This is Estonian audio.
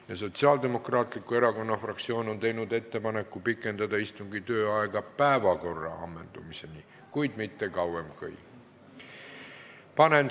Ja Sotsiaaldemokraatliku Erakonna fraktsioon on teinud ettepaneku pikendada istungi tööaega päevakorra ammendumiseni, kuid mitte kauem kui kella 14-ni.